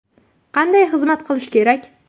Qanday xizmat qilish kerak?